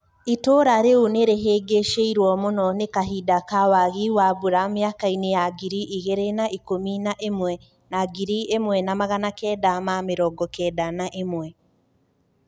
Itũra riu nirihingicirio mũno ni kahinda ka wagi wa mbura miaka-ini ya ngiri igĩrĩ na ikũmi na ĩmwe na ngirĩ ĩmwe na magana kenda na mĩrongo kenda na ĩmwe.